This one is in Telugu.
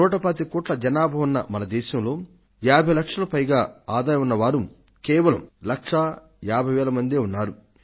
నూట పాతిక కోట్ల మంది జనాభా ఉన్న మన దేశంలో 50 లక్షల పైన ఆదాయం ఉన్నవారు లక్షా ఏభై వేల మందే ఉన్నారు